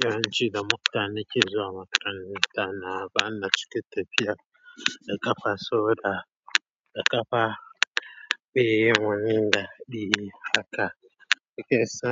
zance cikin mota nike zuwa makaranta. Na bana cike tafiya da kafa, so da kafa. Baiyin wani dadi haka ke sa.